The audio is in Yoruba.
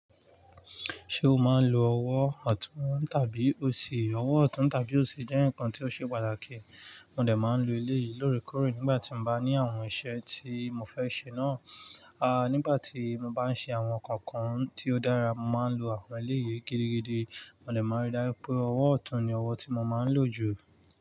Ṣé o máa ń lo ọwọ́ ọ̀tún tàbí òsì? Ọwọ́ ọ̀tún tàbí òsì jẹ́ nǹkan tó ṣe pàtàkì. Mo dẹ̀ máa ń lo eléyìí lóòrèkóòrè nígbà tí n bá ní àwọn iṣẹ́ tí mo fẹ́ ṣe náà. A nígbà tí mo bá ń ṣe àwọn nǹkan kan tí ó dára, mo máa ń lo àwọn eléyii gidigidi. Mo dẹ̀ máa n rí dáju pé ọwọ́ ọ̀tún ni ọwọ́ tí mo máa ń lò jù.